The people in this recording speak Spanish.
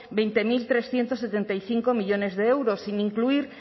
veinte mil trescientos setenta y cinco millónes de euros sin incluir